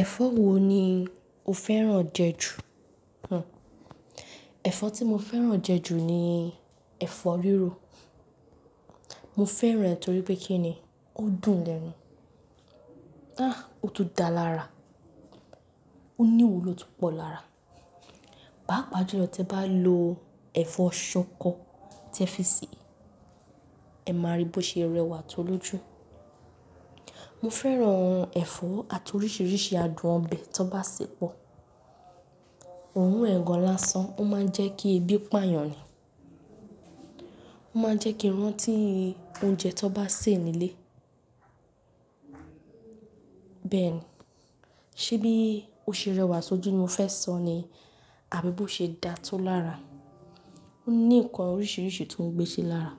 Ẹ̀fọ́ wo ni o fẹ́ràn jẹ ju? Ẹ̀fọ́ tí mo fẹ́ràn jẹ ju ni ẹ̀fọ́ rírò. Mo fẹ́ràn ẹ torí pé kí ni, ó dùn lẹ́nu. À, ó tún da lára, ó ní ihuló tó pọ̀ lára. Papa ju lọ̀ te'bá lo ẹ̀fọ́ ṣọkọ tí ẹ fi sè é, ẹ máa rí bí ó ṣe rẹwà tó lóju. Mo fẹ́ràn ẹ̀fọ́ àti oríṣiríṣi adùn ọbẹ̀ tó bá ṣépọ. Òrun ẹ̀ gan lánsan, ó máa ń jẹ́ kí ebi pààyàn ni. Ó máa ń jẹ́ kí iranti oúnjẹ tó bá sè nílé. Bẹ́ẹ̀ ni. Ṣé bí ó ṣe rẹwà sójú ni o fẹ́ sọ ni àbí bó ṣe dà tó lára? Ó ní nǹkan oríṣiríṣi tó ń gbéṣẹ́ lára.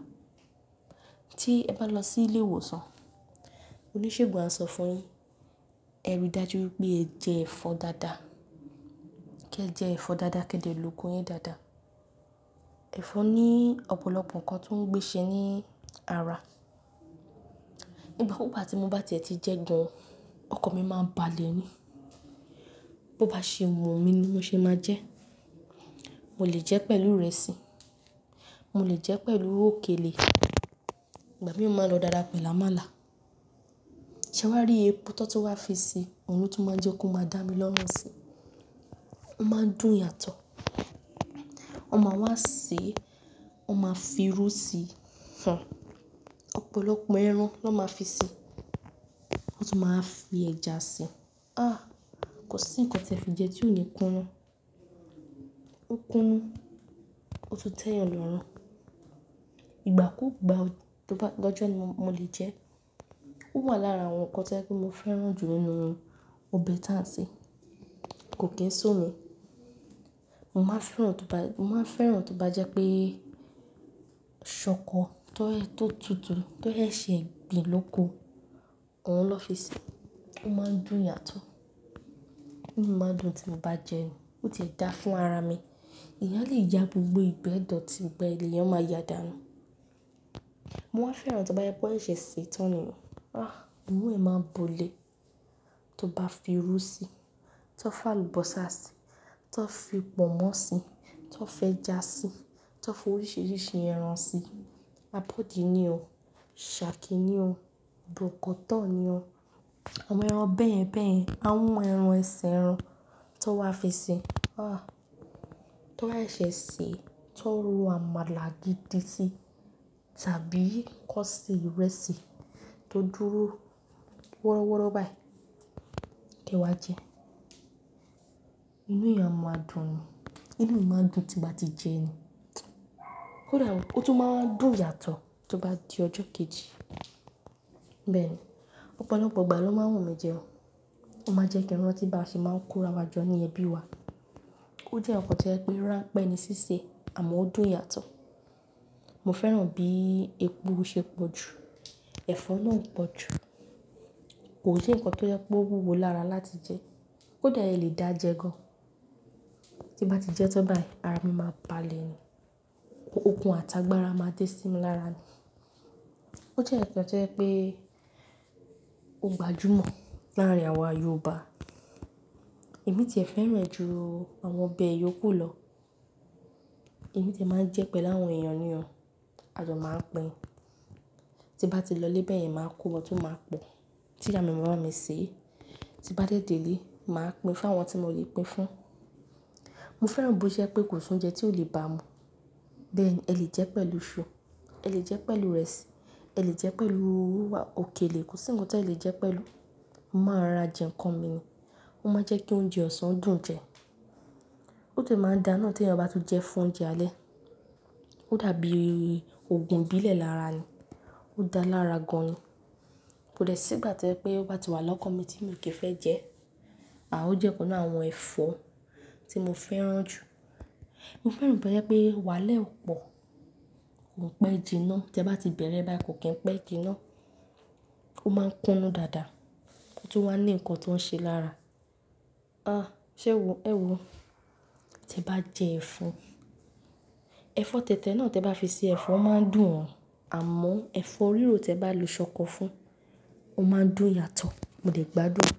Tí ẹ bá lọ sí ilé ìwòsàn, oníṣègùn á sọ fún yin, ẹ rí dájú pé ẹ jẹ ẹ̀fọ́ dáadáa. Kí ẹ jẹ ẹ̀fọ́ dáadáa, kí ẹ jè lò ogun yín dáadáa. Ẹ̀fọ́ ní ọ̀pọ̀lọpọ̀ nǹkan tó ń gbéṣẹ́ ní ara. Ìgbà gbogbo bá ti mo bá ti ẹ̀ ti jẹ gan, ọkàn mi máa ń balẹ̀ ni. Bo bá ṣe mu wun mi ni mo ṣe máa jẹ. Mo lè jẹ pẹ̀lú ìrẹsì, mo lè jẹ pẹ̀lú òkèlè. Ìgbà mìíràn o máa lọ dáádá pẹ̀lú àmàlà. Ṣé wàá rí epo tọ́ tu wá fi si, òun ló tún máa jẹ́ kó máa dá mi lọ́run si. Ó máa ń dùn yàtọ̀. Wọ́n máa wá sè é, wọ́n máa fi irú sí i. Ọ̀pọ̀lọpọ̀ ẹran ló máa fi si, wọ́n tún máa fi ẹja si. À, kò sí nǹkan tí ẹ fi jẹ tí ò ní kunu. Ó kunu, ó tún tẹ́yàn lọ́run. Ìgbàkugba tó bá lọ́jọ́ ni mo lè jẹ ẹ́. Ó wà lára àwọn nǹkan tí ẹ pé mo fẹ́ràn jù nínú awon ọbẹ̀ ta ṣe. Kò kín su mi. Mo máa fẹ́ràn tó bá, mo máa fẹ́ràn tó bá jẹ́ pé ṣọkọ tó ẹ tó tutù tó ẹ ṣe se gbìn lóko, òun ló fi sè é. Ó máa ń dùn yàtọ̀. Inú mi máa ń dùn tí mo bá jẹ ẹ́ ni, ó ti ẹ̀ dá fún ara mi. Eyan a le yá gbogbo ìgbẹ́ idọ̀tí, gbogbo e lẹ̀yán máa ya dàánu Mo máa fẹ́ràn tí wọ́n bá yọ ẹ́ ṣè sì tan ni. À, buru e máa ń bo ilé. Tí wọ́n bá fi irú sí i, tí wọ́n bá fi àlùbọ́sà sí i, tí wọ́n fi pọ̀nmọ́ sí i, tí wọ́n fi ẹja sí i, tí wọ́n fi oríṣiríṣi ẹran sí i. Abodi ni o, shaki ni o, bọ̀kọ́tọ̀ ni o, àwọn ẹran bẹ́yẹ̀n bẹ́yẹ̀n, àhọn ẹran ẹsẹ ẹran tí wọ́n wá fi si i. À, tí wọ́n ba ṣesè sé e, tí wọ́n ro àmàlà gidi sí i tàbí kọ́ ṣe ìrẹsì tó dúró wọ́rọ́wọ́́rọ́ báyìí, kí ẹ wá jẹ ẹ́. Inú èèyàn a máa dùn ni, inú mi máa ń dùn tí mo bá ti jẹ ẹ́ ni. Ó dàá, ó tún máa ń dùn yàtọ̀ tí ó bá di ọjọ́ kejì. Bẹ́ẹ̀ ni. Ọ̀pọ̀lọpọ̀ ìgbà ló máa wùn mí jẹ ẹ́. Ó máa jẹ́ kí iranti bá ṣe máa ń kó ara jọ ní ẹbí wa. Ó jẹ́ nǹkan to jẹ pé ránpẹ́ ni síse e àmọ́ ó dùn yàtọ̀. Mo fẹ́ràn bí epo o ṣe pọ̀jù, ẹ̀fọ́ náà o pọ̀jù. Kò i se nǹkan tí ó jẹpe ó wúwo lára láti jẹ ẹ́. kÓdàá ẹ lè dá jẹ gan. Tí mo bá ti jẹ ẹ́ tán báyìí ara mi máa balẹ̀ ni. Okùn àtàgbàra máa dé sí mi lára ni. Ó jẹ́ nkan to jẹ pé ó gbajúmọ̀ láàrin àwa Yorùbá. Èmi tí ẹ fẹ́ràn ẹ́ ju àwọn ọbẹ̀ yooku lọ. Èmi tí ẹ máa ń jẹ ẹ́ pẹ̀lú àwọn èèyàn ní o, àjọ máa ń pín. Tí mo bá ti lọ lé bẹ̀yẹn máa kó wọn tún máa pọ̀. Tí ìyà mi ma bámi sè é, tí bá dé dé ilé, màá pín fún àwọn tí mo lè pín fún. Mo fẹ́ràn bó ṣe je pé kò sí oúnjẹ tí ò lè ba mú. Bẹ́ẹ̀ ni, ẹ lè jẹ ẹ́ pẹ̀lú iṣu, ẹ lè jẹ ẹ́ pẹ̀lú ìrẹsì, ẹ lè jẹ ẹ́ pẹ̀lú òkèlè. Kò sí nǹkan tí ẹ lè jẹ ẹ́ pẹ̀lú. Mo máa ra jẹ nǹkan mi ni. Ó máa ń jẹ́ kí oúnjẹ ọ̀sán dùn jẹ. Ó de máa ń dá náa tí ẹeyan bá tun jẹ ẹ́ fún oúnjẹ alẹ́. Ó dàbí ògùn ibílẹ̀ lára ni. Ó dá lára gan ni. Kò dẹ́ sí ìgbà tí o jẹ pé ó bá ti wà lọ́kan mi tí mio kì í fẹ́ jẹ ẹ́. À ó jẹ́ ọ̀kan láàárín àwọn ẹ̀fọ́ tí mo fẹ́ràn jù. Mo fẹ́ràn bó ṣe je pé wàhala re o pọ̀. Ko pẹ́ jìnà tí ẹ bá ti bẹ̀rẹ̀ báyìí kò kín pẹ́ jìnà. Ó máa ń kunu dáadáa. Ó tún wà ní nǹkan tó ń ṣe lára. À, ṣé wò ó, ẹ wò ó. Tí ẹ bá jẹ ẹfó, ẹ̀fọ́ tẹ̀tẹ̀ náà tí ẹ bá fi sè ẹ́, ẹfọ́ máa ń dùn ọ àmọ́ ẹ̀fọ́ rírò tí ẹ bá lo ṣọkọ fún, ó máa ń dùn yàtọ̀. Mo lè gbàdún.